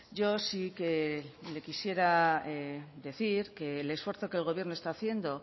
yo sí que le quisiera decir que el esfuerzo que el gobierno está haciendo